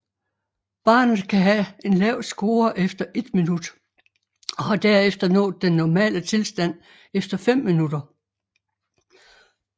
Barnet kan have en lav score efter 1 minut og har derefter nået den normale tilstand efter 5 minutter